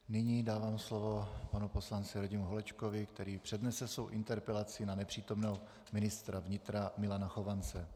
Nyní dávám slovo panu poslanci Radimu Holečkovi, který přednese svou interpelaci na nepřítomného ministra vnitra Milana Chovance.